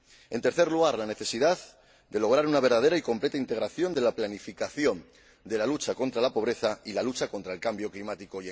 En tercer lugar, la necesidad de lograr una verdadera y completa integración de la planificación de la lucha contra la pobreza y la lucha contra el cambio climático.